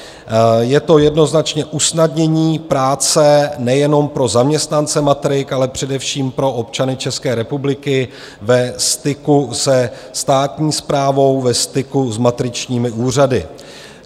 Je to jednoznačně usnadnění práce nejenom pro zaměstnance matrik, ale především pro občany České republiky ve styku se státní správou, ve styku s matričními úřady.